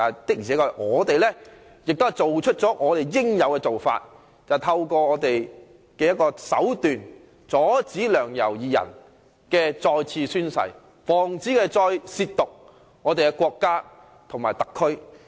不過，我們做了我們應該做的事，便是透過手段阻止梁、游二人再次宣誓，防止他們再褻瀆我們的國家和特區。